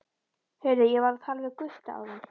Heyrðu, ég var að tala við Gutta áðan.